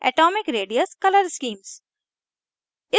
atomic radius color schemes